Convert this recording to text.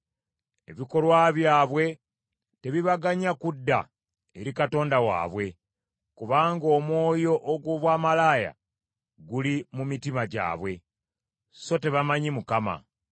Ebikolwa byabwe tebibaganya kudda eri Katonda waabwe, kubanga omwoyo ogw’obwamalaaya guli mu mitima gyabwe, so tebamanyi Mukama .